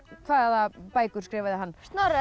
hvaða bækur skrifaði hann Snorra